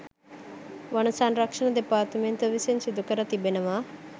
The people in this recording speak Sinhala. වන සංරක්ෂණ දෙපාර්තමේන්තුව විසින් සිදුකර තිබෙනවා.